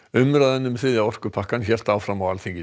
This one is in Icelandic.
umræðan um þriðja orkupakkann hélt áfram á Alþingi